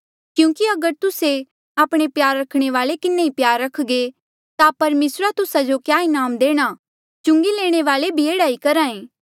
क्यूंकि अगर तुस्से आपणे प्यार रखणे वाल्ऐ किन्हें ई प्यार रखघे ता परमेसरा तुस्सा जो क्या इनाम देणा चुंगी लेणे वाल्ऐ भी एह्ड़ा ही करहा ऐें